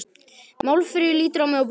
Málfríður lítur á mig og brosir.